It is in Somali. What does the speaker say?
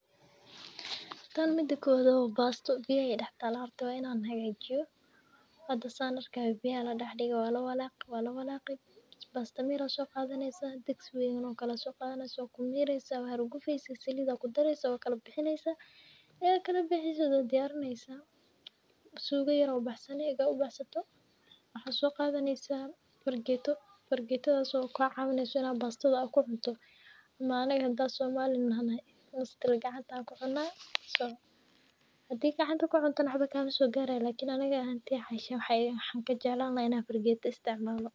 Tan mida kowad wa basto , biyuaha ay dax talaah horta wa in an hagajiyo, san arki hayo biyaa aa ladax dige walawalaqi walawalaqi, basta mira aa soqadaneysaah digsi kale aa soqadanetysaah wakumireysaah, wahurgufeysaah , salid aa kudarieysaah, wakalabixineysaah, marki kalabixisid waa diyarineysaah. Sugo yar aa ubaxsani , ega ubaxsato , waxaa soqadaneysaah fargeto , fargetadas oo kacawineyso in bastada kucunto . Ama anaga hada somali nahno gacanta an kucunaah , so hadaa gacanta kucunto waxba makasogaray , lakin aniga hantey waxan jeclan in fargeta an isticmalo.